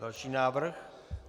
Další návrh.